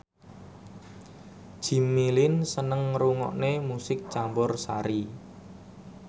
Jimmy Lin seneng ngrungokne musik campursari